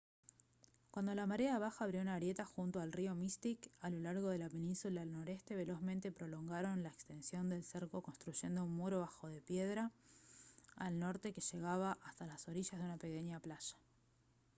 cuando la marea baja abrió una grieta junto al río mystic a lo largo de la península noreste velozmente prolongaron la extensión del cerco construyendo un muro bajo de piedra al norte que llegaba hasta las orillas de una pequeña playa